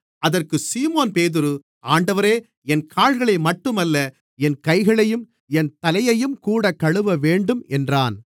அதற்குச் சீமோன்பேதுரு ஆண்டவரே என் கால்களை மட்டுமல்ல என் கைகளையும் என் தலையையும்கூட கழுவவேண்டும் என்றான்